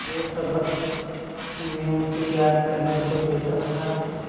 जो सबक मैं उसे याद करने को देता था